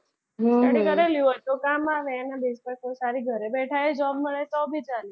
હમ study કરેલી હોય તો કામ આવે. ઘરે બેઠા job મળે એવી ચાલે.